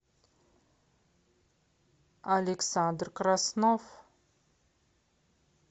александр краснов